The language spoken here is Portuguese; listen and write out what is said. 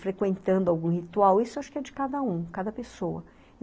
Frequentando algum ritual, isso eu acho que é de cada um, cada pessoa.